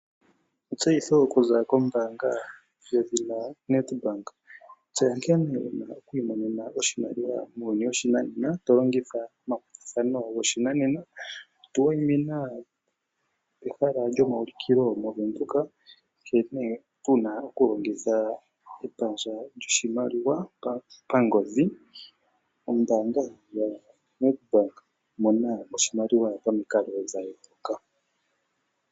Etseyitho okuza kombaanga yedhina Nedbank Tseya nkene wu na oku imonene oshimaliwa muuyuni woshinanena to longitha omakwatathano goshinanena. Tu wayimina pehala lyomaulikilo mOvenduka, nkene wu na okulongitha epandja lyoshimaliwa pangodhi. Ombaanga yaNedbank, mona oshimaliwa pamikalo dha yooloka.